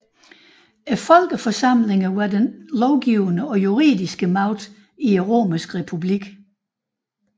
Folkeforsamlingerne var den lovgivende og juridiske magt i den romerske republik